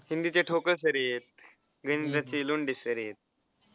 हिंदीचे ठोकळ sir ही आहे गणिताचे लोंढे sir आहेत.